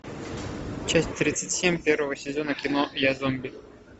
часть тридцать семь первого сезона кино я зомби